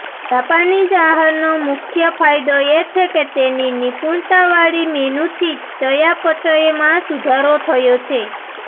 Japanese આહારનો મુખ્ય ફાયદો એ છે કે તેની નિપુણતાવાળી મેનુથી ચયાપચયમાં સુધારો થયો છે